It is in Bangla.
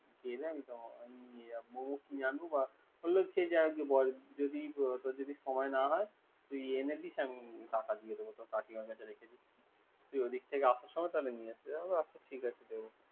কি জানি মোমো কি আনব তোর যদি সময় না হয়। তুই এনে দিস আমি টাকা দিয়ে দিব। তোর কাকিমার কাছে রেখে দিস।